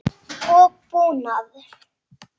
og búnað.